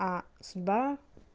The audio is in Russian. а судьба